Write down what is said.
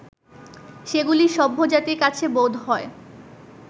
সেগুলি সভ্যজাতির কাছে বোধহয়